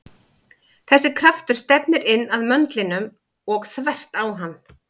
Þessi kraftur stefnir inn að möndlinum og þvert á hann.